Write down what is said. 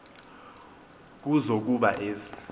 kuzo kuba ezi